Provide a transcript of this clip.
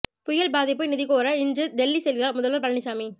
புயல் பாதிப்பு நிதி கோர இன்று டெல்லி செல்கிறார் முதல்வர் பழனிசாமி